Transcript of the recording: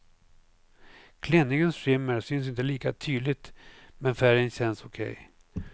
Klänningens skimmer syns inte lika tydligt, men färgen känns okej.